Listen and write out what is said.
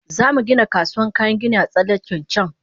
Zamu Gina kasuwan kayan gini a tsallaken can